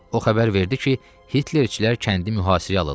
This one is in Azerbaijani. O xəbər verdi ki, Hitlerçilər kəndi mühasirəyə alırlar.